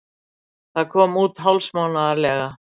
Það kom út hálfsmánaðarlega.